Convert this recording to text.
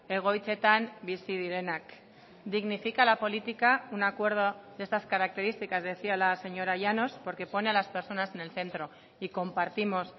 egoitzetan bizi direnak dignifica la política un acuerdo de estas características decía la señora llanos porque pone a las personas en el centro y compartimos